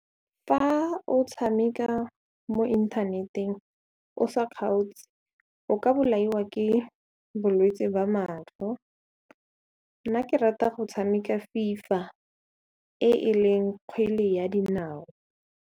Fa o tshameka mo inthaneteng o sa kgaotse o ka bolaiwa ke bolwetse ba matlho, nna ke rata go tshameka FIFA e e leng kgwele ya dinao.